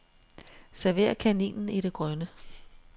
Server kaninen i det grønne.